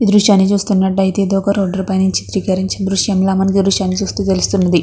ఈ దృశ్యని చూస్తునట్టు అయితే ఇది ఒక రోడ్ పై నుంచి చిత్రకరించిన దృశ్యంలా మనకి ఈ దృశ్యని చుస్తే తెలుస్తున్నది.